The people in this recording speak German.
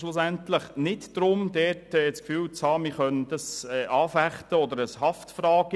Schlussendlich geht es nicht darum, das Gefühl zu haben, man könne dies anfechten oder es sei eine Haftungsfrage.